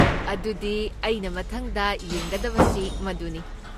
ꯑꯗꯨꯗꯤ ꯑꯩꯅ ꯃꯊꯪꯗ ꯌꯦꯡꯒꯗꯕꯁꯤ ꯃꯗꯨꯅꯤ꯫